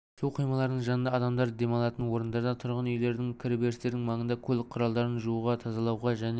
су қоймаларының жанында адамдар демалатын орындарда тұрғын үйлердің кіреберістерінің маңында көлік құралдарын жууға тазалауға және